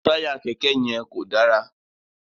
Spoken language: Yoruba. Taya kẹkẹ yẹn kò dára